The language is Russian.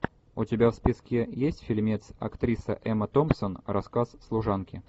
у тебя в списке есть фильмец актриса эмма томпсон рассказ служанки